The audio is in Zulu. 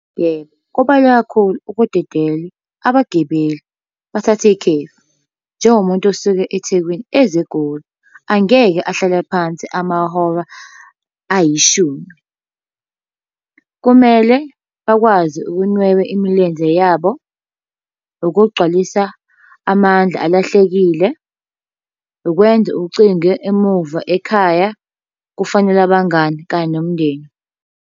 Yebo, kubaluleke kakhulu ukudedela abagibeli bathathe ikhefu. Njengomuntu osuke eThekwini eza eGoli, angeke ahlale phansi amahora ayishumi. Kumele bakwazi ukunweba imilenze yabo, ukugcwalisa amandla alahlekile, ukwenza ucingo emuva ekhaya, ukufonela abangani kanye nomndeni.